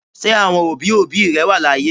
Ṣé àwọn òbí òbí rẹ wà láyé?